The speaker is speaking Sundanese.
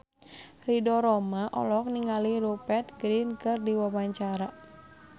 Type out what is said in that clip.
Ridho Roma olohok ningali Rupert Grin keur diwawancara